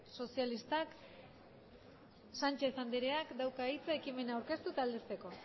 sozialistak sánchez andreak dauka hitza ekimena aurkeztu eta aldezteko